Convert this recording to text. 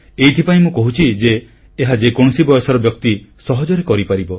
ଏଥିପାଇଁ ମୁଁ କହୁଛି ଯେ ଏହା ଯେକୌଣସି ବୟସର ବ୍ୟକ୍ତି ସହଜରେ କରିପାରିବ